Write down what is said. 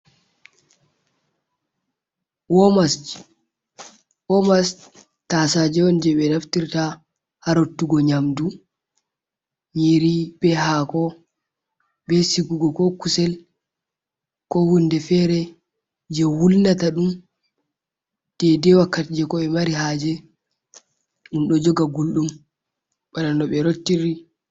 Womas, womas tasaje on jei ɓe naftirta ha rottugo nyamdu, nyiri be hako, be sigugo ko kusel, ko hunde fere jei wulnata ɗum deidei wakkati jei ko ɓe be mari haje. Ɗum ɗo joga gulɗum bana no ɓe rottiri.